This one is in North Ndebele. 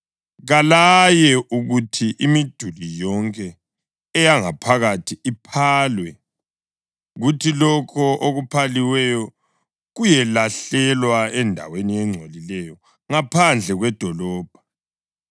Kalaye ukuthi imiduli yonke eyangaphakathi iphalwe, kuthi lokho okuphaliweyo kuyelahlelwa endaweni engcolileyo ngaphandle kwedolobho.